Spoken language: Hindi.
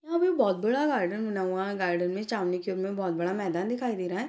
यहाँ पे बहुत बड़ा गार्डन बना हुआ है गार्डन के ओर बहुत बड़ा मैदान दिखाई दे रहा हैं।